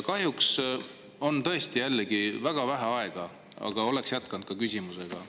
Kahjuks on mul tõesti jällegi väga vähe aega, muidu oleksin oma küsimust jätkanud.